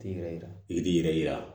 T'i yɛrɛ yira i t'i yɛrɛ yira